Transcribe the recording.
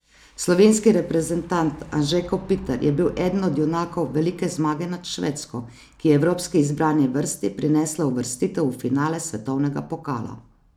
Slovenski reprezentant Anže Kopitar je bil eden od junakov velike zmage nad Švedsko, ki je evropski izbrani vrsti prinesla uvrstitev v finale svetovnega pokala.